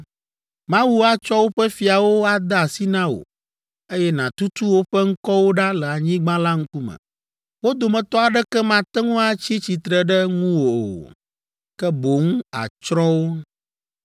Mawu atsɔ woƒe fiawo ade asi na wò, eye nàtutu woƒe ŋkɔwo ɖa le anyigba la ŋkume. Wo dometɔ aɖeke mate ŋu atsi tsitre ɖe ŋuwò o. Ke boŋ àtsrɔ̃ wo.